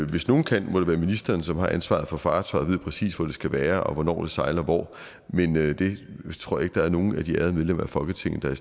hvis nogen kan det må det være ministeren som har ansvaret for fartøjet og ved præcis hvor det skal være og hvornår det sejler hvor men jeg tror ikke der er nogen af de ærede medlemmer af folketinget der